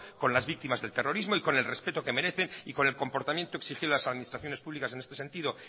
con las víctimas del terrorismo y con el respeto que merecen y con el comportamiento exigido a las administraciones públicas en este sentido